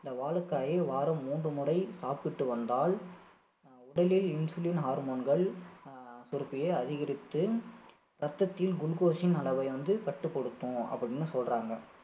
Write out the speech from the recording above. இந்த வாழைக்காயை வாரம் மூன்று முறை சாப்பிட்டு வந்தால் அஹ் உடலில் insulin hormone கள் அஹ் சுரப்பியை அதிகரித்து ரத்தத்தில் glucose இன் அளவை வந்து கட்டுப்படுத்தும் அப்படின்னு சொல்றாங்க